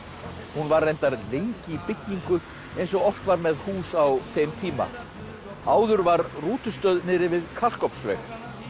hún var reyndar lengi í byggingu eins og oft var með hús á þeim tíma áður var niðri við Kalkofnsveg